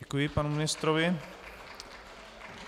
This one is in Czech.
Děkuji panu ministrovi.